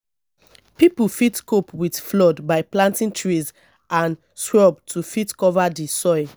pipo fit cope with flood by planting trees and shrubs to fit cover di soil